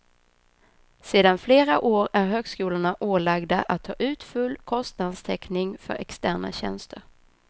Sedan flera år är högskolorna ålagda att ta ut full kostnadstäckning för externa tjänster.